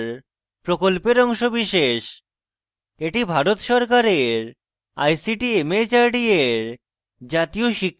এটি ভারত সরকারের ict mhrd এর জাতীয় শিক্ষা mission দ্বারা সমর্থিত